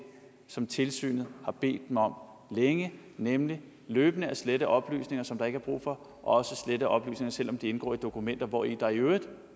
som tilsynet har bedt dem om længe nemlig løbende at slette oplysninger som der ikke er brug for også slette oplysninger selv om de indgår i dokumenter hvori der i øvrigt